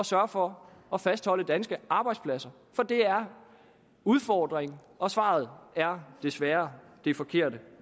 sørge for at fastholde danske arbejdspladser for det er udfordrende og svaret er desværre det forkerte